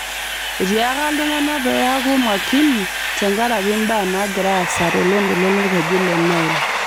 Etiaaka ltung'ana pee eeku makini tenkaraki mbaa naagira aasa toloontoluo lolkeju le Nile